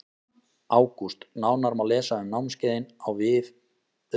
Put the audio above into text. ÁGÚST Nánar má lesa um námskeiðin á vef VITA sport.